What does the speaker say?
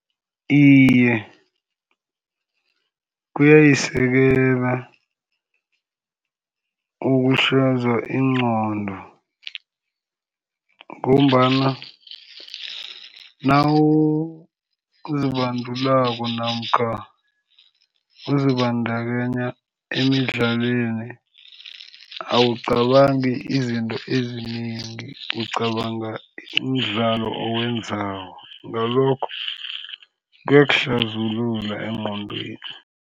Iye, kuyayisekela ingqondo ngombana nawuzibandulako namkha uzibandakanya emidlalweni, awucabangi izinto ezinengi. Ucabanga imidlalo oyenzako. Ngalokho, engqondweni.